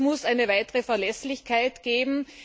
Das heißt, es muss eine weitere Verlässlichkeit geben.